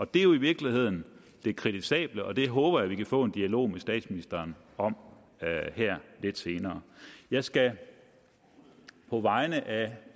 det er jo i virkeligheden det kritisable og det håber jeg vi kan få en dialog med statsministeren om her lidt senere jeg skal på vegne af